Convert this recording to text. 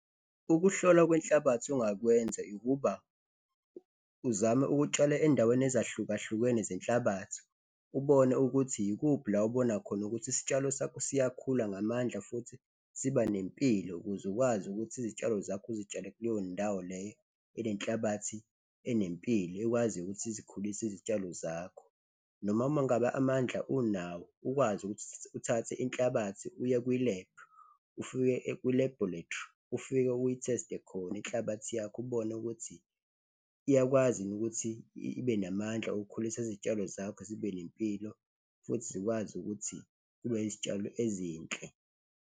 Ukuhlolwa kwenhlabathi ongakwenza ukuba uzame ukutshala endaweni ezahlukahlukene zehlabathi, ubone ukuthi ikuphi la obonakhona ukuthi isitshalo sakho siyakhula ngamandla futhi siba nempilo ukuze ukwazi ukuthi izitshalo zakho uzitshale kuleyo ndawo leyo enenhlabathi, enempilo, ekwaziyo ukuthi izikhulise izitshalo zakho. Noma ma ngabe amandla unawo ukwazi ukuthi uthathe inhlabathi uye kwi-lab, ufike kwi-laboratory, ufike uyitheste khona inhlabathi yakho ubone ukuthi iyakwazi yini ukuthi ibe namandla okukhulisa izitshalo zakho zibe nempilo futhi zikwazi ukuthi kube izitshalo ezinhle.